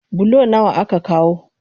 Bulo nawa aka kawo?